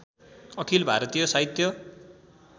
अखिल भारतीय साहित्य